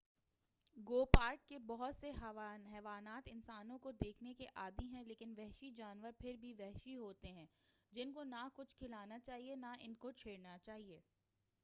گو park کے بہت سے حیوانات انسانوں کو دیکھنے کے عادی ہیں لیکن وحشی جانور پھر بھی وحشی ہوتے ہیں جن کو نہ کچھ کھلانا چاہئے نہ ان کو چھیڑنا چاہئے